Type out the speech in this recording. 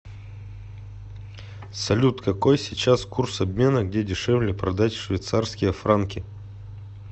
салют какой сейчас курс обмена где дешевле продать швейцарские франки